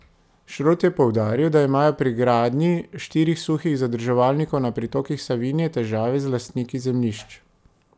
Šrot je poudaril, da imajo pri gradnji štirih suhih zadrževalnikov na pritokih Savinje težave z lastniki zemljišč.